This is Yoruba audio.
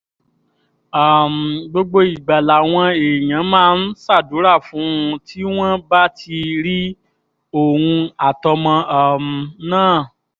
um gbogbo ìgbà làwọn èèyàn máa ń ṣàdúrà fún un tí wọ́n bá ti rí òun àtọmọ um náà